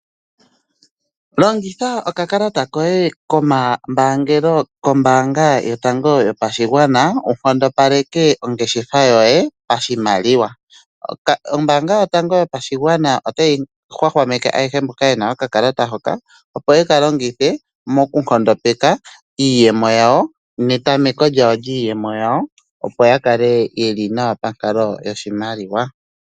Longitha okakalata koye komambaangelo kombaanga yotango yopashigwana wu nkondopaleke ongeshefa yoye pashimaliwa. Ombaanga yotango yopashigwana otayi hwahwameke ayehe mboka ye na okakalata hoka, opo ye ka longithe mokunkondopeka iiyemo yawo netameko lyawo lyiiyemo yawo, opo ya kale ye li nawa pankalo yoshimaliwa.